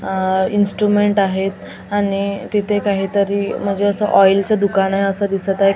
आह इन्स्ट्रूमेंट आहेत आणि तिथे काहीतरी म्हणजे असं ऑईलचं दुकान आहे असं दिसत आहे की --